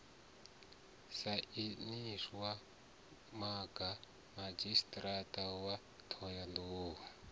sainiwaho mga madzhisiṱiraṱa wa ṱhohoyanḓou